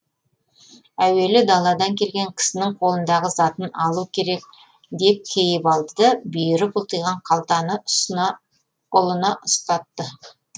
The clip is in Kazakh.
әуелі даладан келген кісінің қолындағы затын алу керек деп кейіп алды бүйірі бұлтиған қалтаны ұлына ұстатты